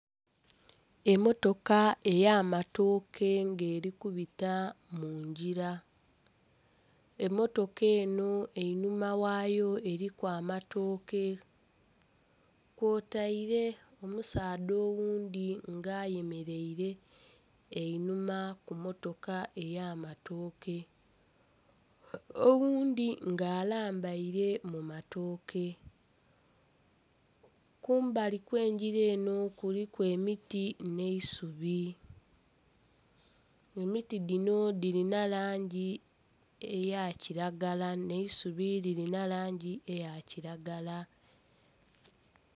Emmotoka ey'amatooke nga eri kubita mungira. Emmotoka eno einhuma ghayo eriku amatooke kwotaire omusaadha oghundhi nga ayemereire einhuma ku mmotoka ey'amatooke, oghundhi nga alambaire mu matooke. Kumbali kw'engira enho kuliku emiti n'eisubi, emiti dhino dhirina langi eya kilagala n'eisubi lirina langi eya kilagala.